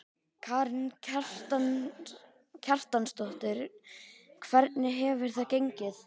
Karen Kjartansdóttir: Hvernig hefur það gengið?